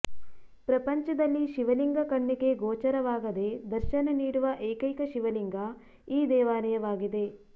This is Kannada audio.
ಪ್ರಪಂಚದಲ್ಲಿ ಶಿವಲಿಂಗ ಕಣ್ಣಿಗೆ ಗೋಚಾರವಾಗದೇ ದರ್ಶನ ನೀಡುವ ಏಕೈಕ ಶಿವಲಿಂಗ ಈ ದೇವಾಲಯವಾಗಿದೆ